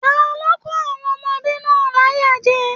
Talo n kò àwọn ọmọdébinrin náà láyà jẹ?